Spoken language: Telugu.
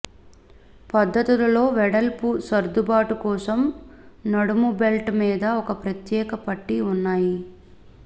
పద్దతులలో వెడల్పు సర్దుబాటు కోసం నడుము బెల్ట్ మీద ఒక ప్రత్యేక పట్టీ ఉన్నాయి